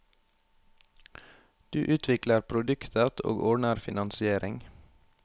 Du utvikler produktet, og ordner finansiering.